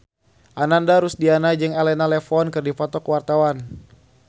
Ananda Rusdiana jeung Elena Levon keur dipoto ku wartawan